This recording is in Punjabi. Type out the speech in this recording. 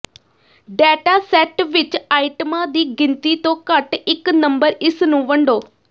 ਡੈਟਾ ਸੈੱਟ ਵਿਚ ਆਈਟਮਾਂ ਦੀ ਗਿਣਤੀ ਤੋਂ ਘੱਟ ਇਕ ਨੰਬਰ ਇਸ ਨੂੰ ਵੰਡੋ